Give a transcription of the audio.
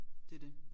Det det